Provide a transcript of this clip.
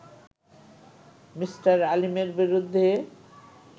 Me. আলীমের বিরুদ্ধ